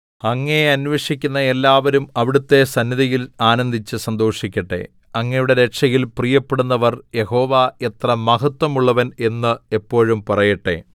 അങ്ങയെ അന്വേഷിക്കുന്ന എല്ലാവരും അവിടുത്തെ സന്നിധിയിൽ ആനന്ദിച്ച് സന്തോഷിക്കട്ടെ അങ്ങയുടെ രക്ഷയിൽ പ്രിയപ്പെടുന്നവർ യഹോവ എത്ര മഹത്വമുള്ളവൻ എന്ന് എപ്പോഴും പറയട്ടെ